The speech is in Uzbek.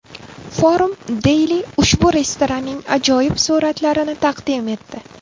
Forum Daily ushbu restoranning ajoyib suratlarini taqdim etdi.